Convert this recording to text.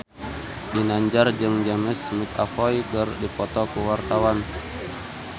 Ginanjar jeung James McAvoy keur dipoto ku wartawan